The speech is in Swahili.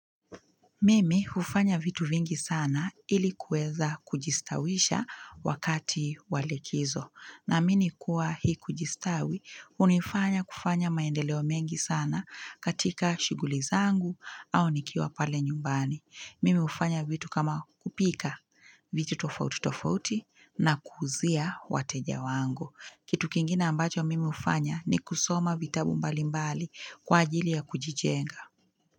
Mimi hufanya vitu vingi sana ili kuweza kujistawisha wakati wa likizo. Naamini kuwa hii kujistawi hunifanya kufanya maendeleo mengi sana katika shughuli zangu au nikiwa pale nyumbani. Mimi hufanya vitu kama kupika vitu tofauti tofauti na kuuzia wateja wangu. Kitu kingine ambacho mimi hufanya ni kusoma vitabu mbalimbali kwa ajili ya kujijenga.